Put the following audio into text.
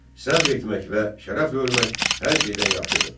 Səbr etmək və şərəflə ölmək hər şeydən yaxşıdır.